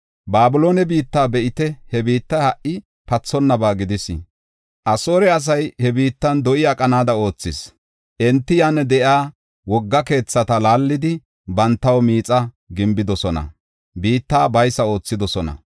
Babiloone biitta be7ite; he biittay ha77i pathonnaba gidis. Asoore asay he biittan do7i aqanaada oothis. Enti yan de7iya wogga keethata laallidi bantaw miixa gimbidosona; biitta baysa oothidosona.